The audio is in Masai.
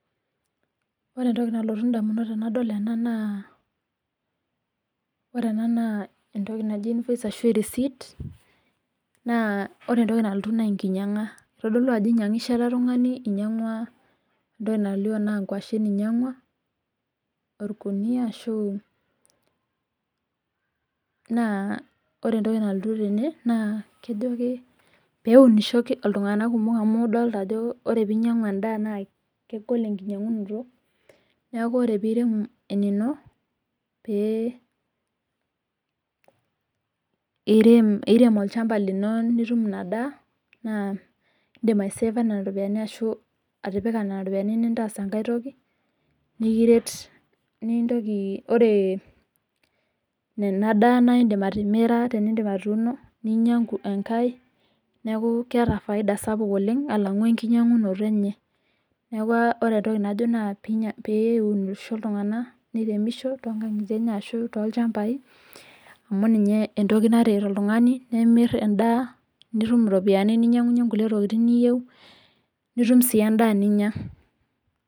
Ore entoki naalotoki indamunot naa ore ena naa erisiti inyangishe ele tungani ingwashen olkunuyia naa keji ena peeunisho iltunganak kumok amu kegol enkinyangata naa piirem olchama lino amu indim atimira ashu inya enkae naa keeta faida sapuk oleng alangu enkinyangunoto enye niaku ajo piriremisho iltunganak tolchambai lenje amu eeta faida sapuk